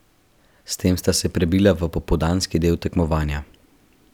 S tem sta se prebila v popoldanski del tekmovanja.